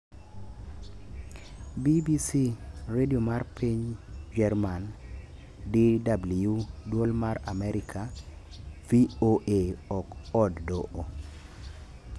BBC, Radio mar piny German- DW, dwol mar Amerka- VOA, ok od doho